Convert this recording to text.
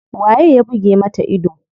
Waye ya buge mata ido?